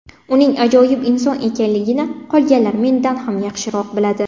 Uning ajoyib inson ekanligini qolganlar mendan ham yaxshiroq biladi.